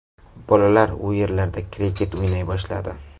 Bolalar u yerlarda kriket o‘ynay boshladi.